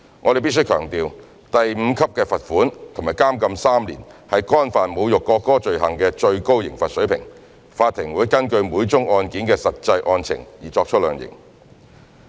我們必須強調，第5級罰款及監禁3年是干犯侮辱國歌罪行的最高刑罰水平，法庭會根據每宗案件的實際案情而作出量刑。